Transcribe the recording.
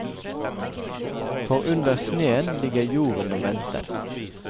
For under sneen ligger jorden og venter.